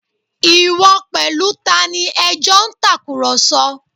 Ìwọ pẹ̀lú tani ẹ jọ ń tàkùrọ̀sọ